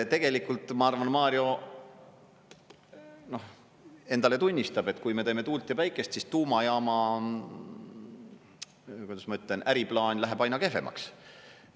Tegelikult ma arvan, et Mario endale tunnistab, et kui me teeme tuult ja päikest, siis tuumajaama, või kuidas ma ütlen, äriplaan, läheb aina kehvemaks.